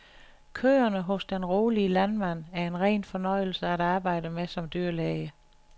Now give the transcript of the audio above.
Køerne hos den rolige landmand, er en ren fornøjelse at arbejde med som dyrlæge.